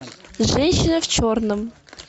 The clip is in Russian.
женщина в черном